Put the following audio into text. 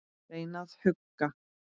Reyna að hugga.